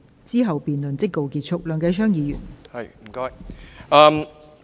之後辯論即告結束。